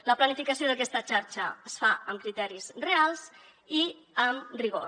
la planificació d’aquesta xarxa es fa amb criteris reals i amb rigor